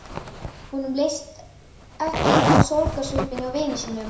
Honum leist ekki á sorgarsvipinn á vini sínum.